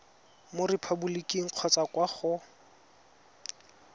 mo repaboliking kgotsa kwa go